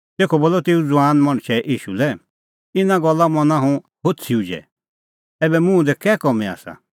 तेखअ बोलअ तेऊ ज़ुआन मणछै ईशू लै इना गल्ला मना हुंह होछ़ी उझै ऐबै मुंह दी कै कामीं आसा